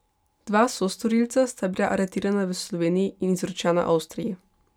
Dva sostorilca sta bila aretirana v Sloveniji in izročena Avstriji.